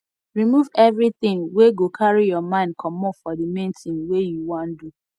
remove everything wey go carry your mind comot for the main thing wey you wan do